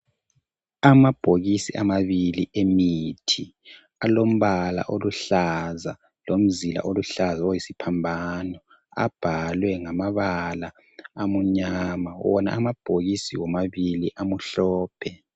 Amabhokisi amabili emithi alombala oluhlaza lomzila oluhlaza oyisiphambano abhalwe ngamabala amunyama wona amabhokisi womabili amhlophe.